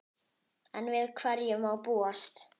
Enn við hverju má búast?